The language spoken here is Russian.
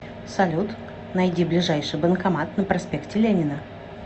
салют найди ближайший банкомат на проспекте ленина